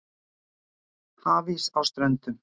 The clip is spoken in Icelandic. Hafís á Ströndum